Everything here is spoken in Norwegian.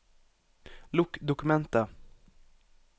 Lukk dokumentet